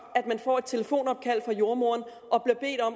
at man får et telefonopkald fra jordemoderen